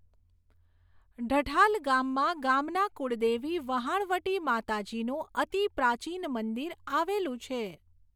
ઢઠાલ ગામમા ગામના કુળદેવી વહાણવટી માતાજીનું અતીપ્રાચીન મંદિર આવેલું છે.